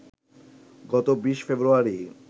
গত ২০ ফেব্রুয়ারি